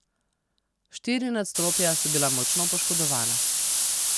Štiri nadstropja so bila močno poškodovana.